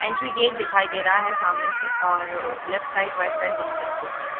Entry gate दिखाई दे रहा है सामने से और लेफ्ट साइड राइट साइड दोनों तरफ पोस्टर है।